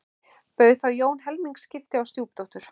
Bauð þá Jón helmingaskipti á stjúpdóttur